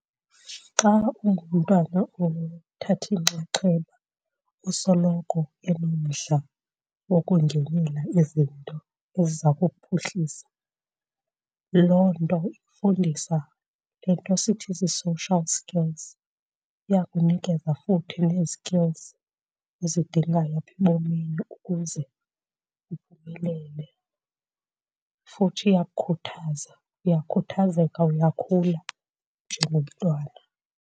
Xa ungumntwana othatha inxaxheba usoloko enomdla wokungenela izinto eziza kuphuhlisa, loo nto ikufundisa le nto sithi zii-social skills, iyakunikeza futhi nee-skills ozidingayo apha ebomini ukuze uphumelele. Futhi iyakukhuthaza, uyakhuthazeka, uyakhula njengomntwana.